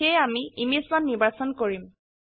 সেয়ে আমি ইমেজ1 নিৰ্বাচন কৰিম